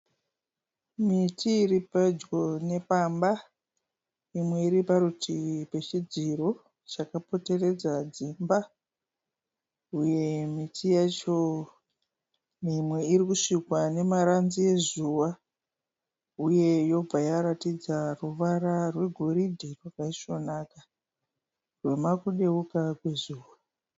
Miti iri pedyo nepamba imwe iri parutivi pezvidziro zvakapoteredza dzimba. Uye miti yacho Imwe irikusvikwa nemaranzi ezuva uye yobva yaratidza ruvara rwe goridhe rwakaisvonaka rwemakudeuka kwe zuva .